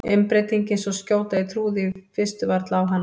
Umbreytingin svo skjót að ég trúði í fyrstu varla á hana.